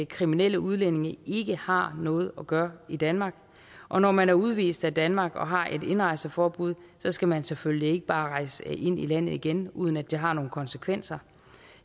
kriminelle udlændinge ikke har noget at gøre i danmark og når man er udvist af danmark og har et indrejseforbud skal man selvfølgelig ikke bare rejse ind i landet igen uden at det har nogle konsekvenser